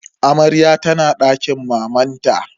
Amaryar tana dakin mamanta.